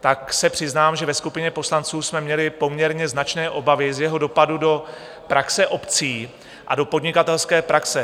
tak se přiznám, že ve skupině poslanců jsme měli poměrně značné obavy z jeho dopadu do praxe obcí a do podnikatelské praxe.